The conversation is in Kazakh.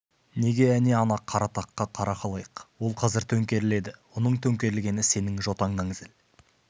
неге әне ана қара таққа қара халайық ол қазір төңкеріледі оның төңкерілгені сенің жотаңнан зіл